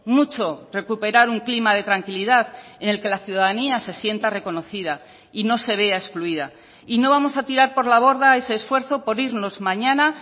mucho recuperar un clima de tranquilidad en el que la ciudadanía se sienta reconocida y no se vea excluida y no vamos a tirar por la borda ese esfuerzo por irnos mañana